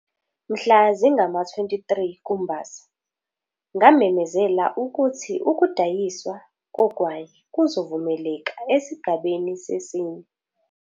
Mhla zingama-23 kuMbasa, ngamemezela ukuthi ukudayiswa kogwayi kuzovumeleka esigabeni sesine.